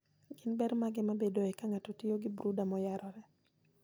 Gin ber mage mabedoe ka ng'ato otiyo gi brooder moyarore?